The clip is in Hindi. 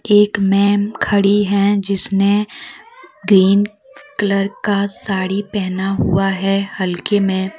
एक मैम खड़ी हैं जिसने ग्रीन कलर का साड़ी पहना हुआ है हल्के में।